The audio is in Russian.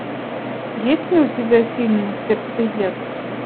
есть ли у тебя фильм сердцеед